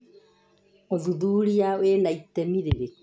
ũthuthuria wĩna itemi rĩrikũ?